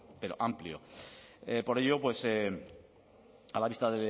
pero amplio por ello a la vista